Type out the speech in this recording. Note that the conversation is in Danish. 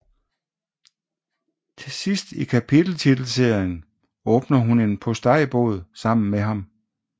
Til sidst i kapiteltitelserien åbner hun en postejbod sammen med ham